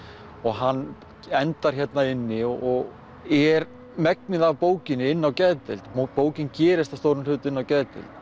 og hann endar hérna inni og er megnið af bókinni inni á geðdeild bókin gerist að stórum hluta inni á geðdeild